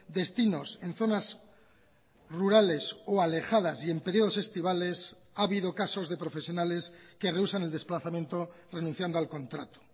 destinos en zonas rurales o alejadas y en periodos estivales ha habido casos de profesionales que reúsan el desplazamiento renunciando al contrato